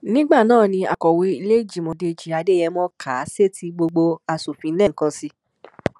nígbà náà ni akọ̀wé ìlèéjìmọ dèjì adéyémọ kà á sétíìgbọ gbogbo asòfin lẹ́ẹ̀kan sí i